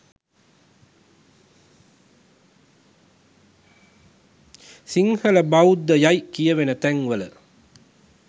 සිංහල බෞද්ධ යයි කියවෙන තැන් වල